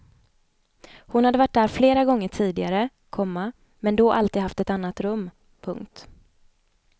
Hon hade varit där flera gånger tidigare, komma men då alltid haft ett annat rum. punkt